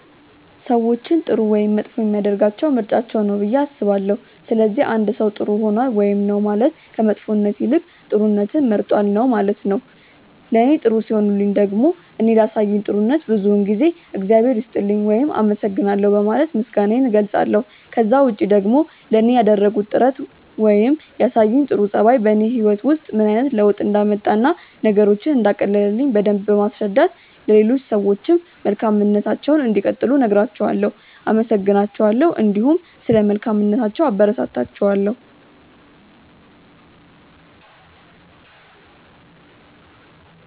ሰዎችን ጥሩ ወይም መጥፎ የሚያደርጋቸው ምርጫቸው ነው ብዬ አስባለሁ። ስለዚህ አንድ ሰው ጥር ሆኗል ውይም ነው ማለት ከመጥፎነት ይልቅ ጥሩነትን መርጧል ነው ማለት ነው። ለኔ ጥሩ ሲሆኑልኝ ደግሞ እኔ ላሳዩኝ ጥሩነት ብዙውን ጊዜ እግዚአብሔር ይስጥልኝ ውይም አመሰግናለሁ በማለት ምስጋናዬን እገልጻለሁ። ከዛ ውጪ ደግሞ ለኔ ያደረጉት ጥረት ነገር ወይም ያሳዩኝ ጥሩ ጸባይ በኔ ህይወት ውስጥ ምን አይነት ለውጥ እንዳመጣ እና ነገሮችን እንዳቀለለልኝ በደምብ በማስረዳት ለሌሎች ሰዎችም መልካምነታቸውን እንዲቀጥሉ እነግራቸዋለው፣ አመሰግናቸዋለሁ እንዲሁም ስለ መልካምነታቸው አበረታታቸዋለሁ።